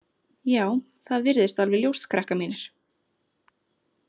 Já, það virðist alveg ljóst, krakkar mínir.